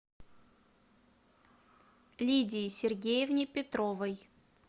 лидии сергеевне петровой